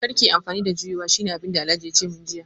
Kar ki yi amfani da juyowa shine abinda Alhaji yace min jiya